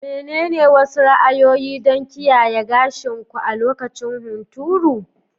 Menene wasu ra'ayoyi don kiyaye gashin ku a lokacin hunturu?